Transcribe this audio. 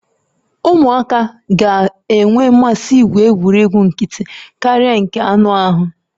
Ụmụaka ga-enwe mmasị igwu egwuregwu nkịtị karịa nke anụ ahụ